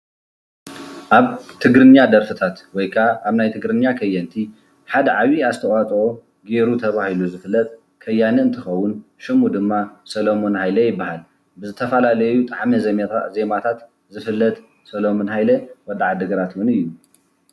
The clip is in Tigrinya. አብ ትግርኛ ደርፍታት ወይ ከዓ አብ ናይ ትግርኛ ከየንቲ ሓደ ዓብይ አስተዋፅኦ ገይሩ ተባሂሉ ዝፍለጥ ከያኒ እንትኸውን ሽሙ ድማ ሰለሙን ሃይለ ይበሃል። ብዝተፈላለዩ ጣዕመ ዜማታት ዝፍለጥ ሰለሙን ሃይለ ወዲ ዓዲ ግራት እዩ።